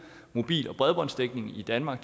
mobil og bredbåndsdækning i danmark